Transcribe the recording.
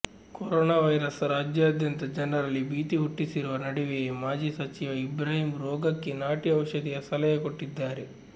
corona virus ರಾಜ್ಯದಾದ್ಯಂತ ಜನರಲ್ಲಿ ಭೀತಿ ಹುಟ್ಟಿಸಿರುವ ನಡುವೆಯೇ ಮಾಜಿ ಸಚಿವ ಇಬ್ರಾಹಿಂ ರೋಗಕ್ಕೆ ನಾಟಿ ಔಷಧಿಯ ಸಲಹೆ ಕೊಟ್ಟಿದ್ದಾರೆ